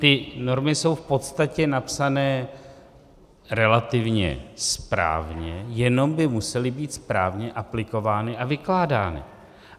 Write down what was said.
Ty normy jsou v podstatě napsané relativně správně, jenom by musely být správně aplikovány a vykládány.